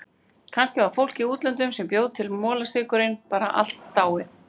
Kannski var fólkið í útlöndunum sem bjó til molasykurinn bara allt dáið.